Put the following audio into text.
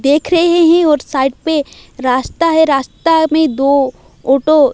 देख रहे हैं और साइड पे रास्ता है रास्ता है मे दो ऑटो --